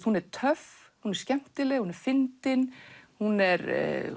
hún er töff skemmtileg og fyndin hún er